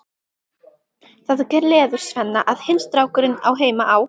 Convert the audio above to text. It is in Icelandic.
Það gleður Svenna að hinn strákurinn á heima á